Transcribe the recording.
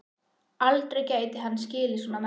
Aldrei gæti hann skilið svona menn.